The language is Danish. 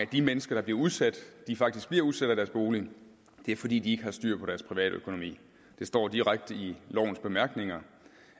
de mennesker der bliver udsat faktisk bliver udsat af deres bolig fordi de ikke har styr på deres privatøkonomi det står direkte i lovens bemærkninger